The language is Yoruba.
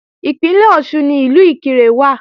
Ìpínlẹ̀ Ọ̀ṣun ni Ìlú Ìkirè wà